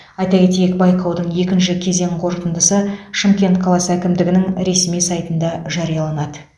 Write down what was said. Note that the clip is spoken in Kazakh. айта кетейік байқаудың екінші кезең қорытындысы шымкент қаласы әкімдігінің ресми сайтында жарияланады